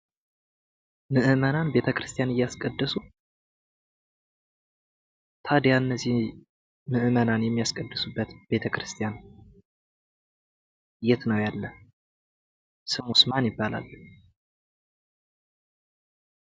ምዕመናን ቤተ ክርስቲያን እያስቀደሱ ታዲያ እነዚህ ምዕመናን የሚያስቀድሱበት ቤተ ክርስቲያን የት ነው ያለ? ስሙስ ማን ይባላል?